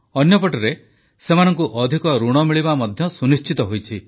ଅନ୍ୟପଟେ ସେମାନଙ୍କୁ ଅଧିକ ଋଣ ମିଳିବା ମଧ୍ୟ ସୁନିଶ୍ଚିତ ହୋଇଛି